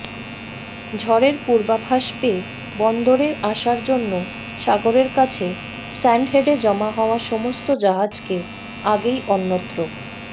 ঝড়ের পূর্বাভাস পেয়ে বন্দরে আসার জন্য সাগরের কাছে স্যান্ডহেডে জমা হওয়া সমস্ত জাহাজকে আগেই অন্যত্র